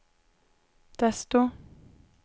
desto